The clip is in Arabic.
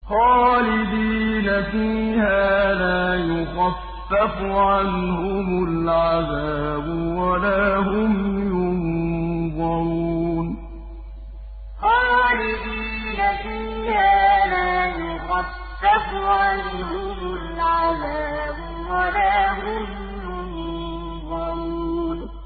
خَالِدِينَ فِيهَا لَا يُخَفَّفُ عَنْهُمُ الْعَذَابُ وَلَا هُمْ يُنظَرُونَ خَالِدِينَ فِيهَا لَا يُخَفَّفُ عَنْهُمُ الْعَذَابُ وَلَا هُمْ يُنظَرُونَ